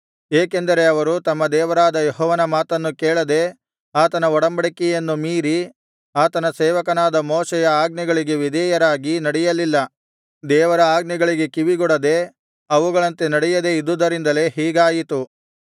ಏಕೆಂದರೆ ಅವರು ತಮ್ಮ ದೇವರಾದ ಯೆಹೋವನ ಮಾತನ್ನು ಕೇಳದೆ ಆತನ ಒಡಂಬಡಿಕೆಯನ್ನು ಮೀರಿ ಆತನ ಸೇವಕನಾದ ಮೋಶೆಯ ಆಜ್ಞೆಗಳಿಗೆ ವಿಧೇಯರಾಗಿ ನಡೆಯಲಿಲ್ಲ ದೇವರ ಆಜ್ಞೆಗಳಿಗೆ ಕಿವಿಗೊಡದೇ ಅವುಗಳಂತೆ ನಡೆಯದೇ ಇದ್ದುದರಿಂದಲೇ ಹೀಗಾಯಿತು